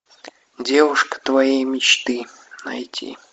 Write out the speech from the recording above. девушка твоей мечты найти